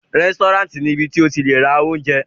Rẹ́sítọ́ráǹtì ni ibi tí o ti le ra oúnjẹ.